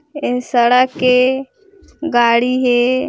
एहा सडक ए गाड़ी हे।